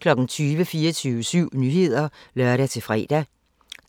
20:00: 24syv Nyheder (lør-fre)